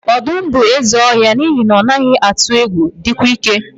Ọdụm bụ eze ọhịa n'ihi na ọ naghị atụ egwu, dịkwa ike.